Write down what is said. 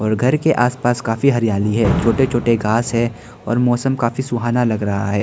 और घर के आसपास काफी हरियाली है छोटे छोटे घास है और मौसम काफी सुहाना लग रहा है।